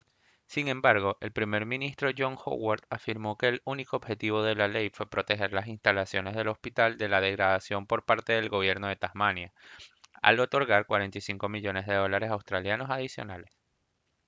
sin embargo el primer ministro john howard afirmó que el único objetivo de la ley fue proteger las instalaciones del hospital de la degradación por parte del gobierno de tasmania al otorgar 45 millones de dólares australianos adicionales